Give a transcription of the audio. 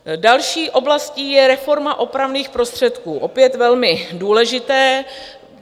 Další oblastí je reforma opravných prostředků - opět velmi důležité.